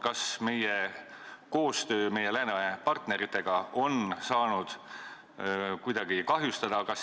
Kas meie koostöö läänepartneritega on saanud kuidagi kahjustada?